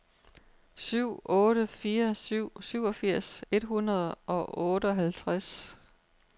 syv otte fire syv syvogfirs et hundrede og otteoghalvtreds